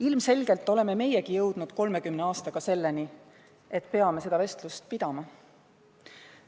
Ilmselgelt oleme meiegi jõudnud 30 aastaga selleni, et peame seda vestlust pidama.